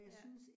Ja